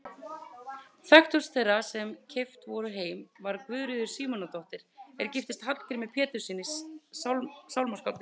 Þekktust þeirra sem keypt voru heim var Guðríður Símonardóttir er giftist Hallgrími Péturssyni sálmaskáldi.